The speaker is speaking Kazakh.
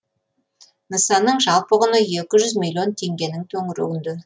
нысанның жалпы құны екі жүз миллион теңгенің төңірегінде